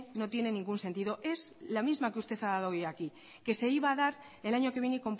no tiene ningún sentido es la misma que usted ha dado hoy aquí que se iba a dar el año que viene